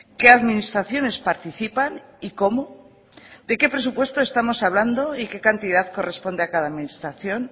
qué administraciones participan y cómo de qué presupuesto estamos hablando y qué cantidad corresponde a cada administración